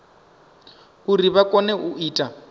uri vha kone u ita